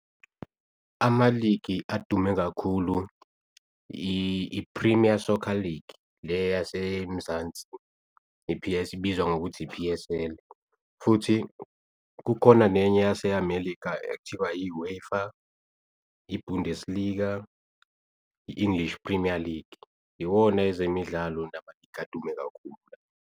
Ama-League adume kakhulu i-Premier Soccer League le yaseMzansi, i-P_S ibizwa ngokuthi i-P_S_L futhi kukhona nenye yase-Amerika ekuthiwa i-UEFA, i-Bundesliga, i-English Premier League iwona ezemidlalo nama-league adume kakhulu.